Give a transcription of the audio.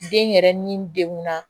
Den yɛrɛ ni degunna